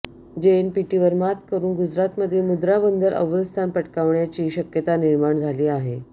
जेएनपीटीवर मात करून गुजरातमधील मुंद्रा बंदर अव्वल स्थान पटकावण्याची शक्यता निर्माण झाली आहे